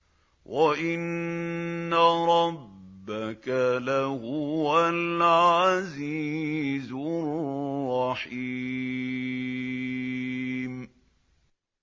وَإِنَّ رَبَّكَ لَهُوَ الْعَزِيزُ الرَّحِيمُ